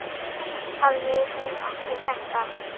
Hafði hún ekki sagt allt?